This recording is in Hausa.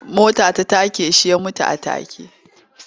Mota ta take shi ya mutu a take.